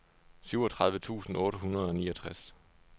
syvogtredive tusind otte hundrede og niogtres